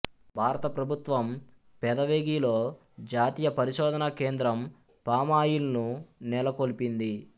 భారత ప్రభుత్వము పెదవేగిలో జాతీయ పరిశోధనా కేంద్రము పామ్ ఆయిల్ను నెలకొల్పింది